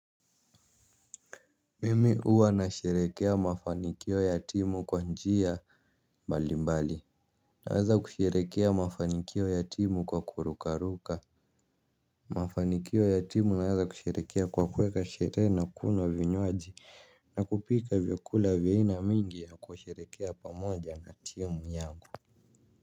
Mimi huwa nasherehekea mafanikio ya timu kwa njia mbalimbali naweza kusherehekea mafanikio ya timu kwa kurukaruka. Mafanikio ya timu naweza kusherehekea kwa kuweka sherehe na kunywa vinywaji na kupika vyakula vya aina mingi na kusherehekea pamoja na timu yangu.